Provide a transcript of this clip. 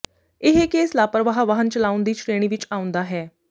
ਇਹ ਕੇਸ ਲਾਪਰਵਾਹ ਵਾਹਨ ਚਲਾਉਣ ਦੀ ਸ਼੍ਰੇਣੀ ਵਿੱਚ ਆਉਂਦਾ ਹੈ